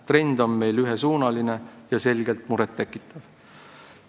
Trend on meil ühesuunaline ja selgelt muret tekitav.